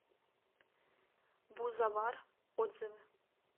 бузовар отзывы